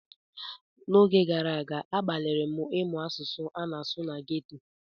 N'oge gara aga, agbalịrị m ịsụ asụsụ a na-asụ na ghetto.